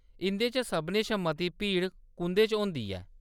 इंʼदे चा सभनें शा मती भीड़ कुं'दे च होंदी ऐ ?